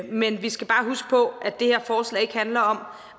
men vi skal bare huske på at det her forslag ikke handler om